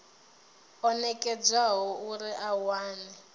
o nekedzwaho uri a wane